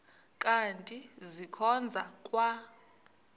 kanti ndikhonza kwa